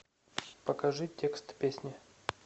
покажи текст песни